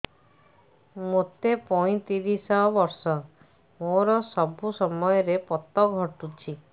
ମୋତେ ପଇଂତିରିଶ ବର୍ଷ ମୋର ସବୁ ସମୟରେ ପତ ଘଟୁଛି